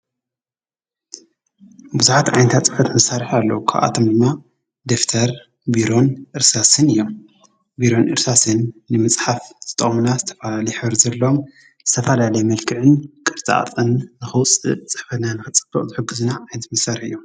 ብዙሓት ዓይነታት ፅሕፈት መሳርሕታት አለው። ካብኣቶም ድማ ደፍተር፣ ቢሮን፣ እርሳስን እዮም። ቢሮን እርሳስን ንምፅሓፍ ዝጠቅሙና ዝተፈላለዩ ሕብሪ ዘለዎም ዝተፈላለየ መልክዕን ቅርፃ ቅርፅን ንከውፅን ፅሕፈትና ንክፅብቅ ዝሕግዙና ዓይነት መሳርሒ እዮም።